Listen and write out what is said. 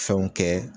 Fɛnw kɛ